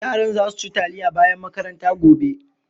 Yaran za su ci taliya bayan makaranta gobe?